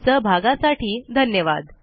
सहभागासाठी धन्यवाद